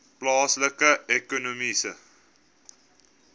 plaaslike ekonomiese